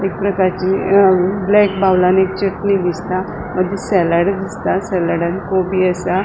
एकप्रकारची ब्लैक बाऊलानी चटनी दिसता मागिर सलाड दिसता सलाड आणि कोबी असा.